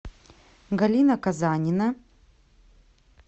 галина казанина